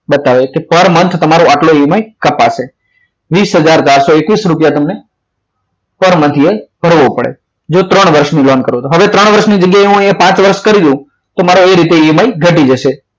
બતાવે છે per month તમારો આટલો EMI કપાશે વીસ હજાર પાછળ એકવીસ રૂપિયા તમને per month ભરવો પડે જો ત્રણ વર્ષની લોન કરો તો હવે ત્રણ વર્ષની જગ્યાએ હું પાંચ વર્ષ કરી દઉં તો એવી રીતે EMI ઘટી જશે